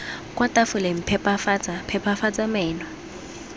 kwa tafoleng phepafatsa phepafatsa meno